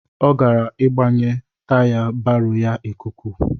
Ọ gara ịgbanye taya baro ya ikuku.